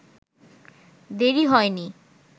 দেরি হয়নি